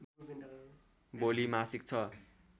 भोलि मासिक छ